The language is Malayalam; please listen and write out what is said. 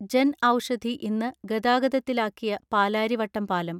ജൻഔഷധി ഇന്ന് ഗതാഗതത്തിലാക്കിയ പാലാരിവട്ടം പാലം